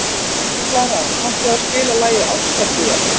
Klara, kanntu að spila lagið „Ástardúett“?